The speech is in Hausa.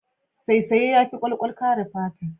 Saisaye yafi kwalkwal kare fata.